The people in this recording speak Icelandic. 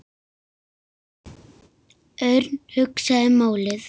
Örn hugsaði málið.